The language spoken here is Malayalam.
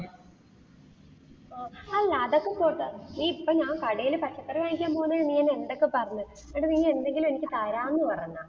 ഓ അല്ല അതൊക്കെ പോട്ടെ, ഈ ഇപ്പോ ഞാൻ കടയില് പച്ചക്കറി വാങ്ങാൻ പോണതിനു നീ എന്നെ എന്തൊക്കെ പറഞ്ഞു, എന്നിട്ട് നീ എന്തെങ്കിലും എനിക്ക് തരാമെന്ന് പറഞ്ഞോ.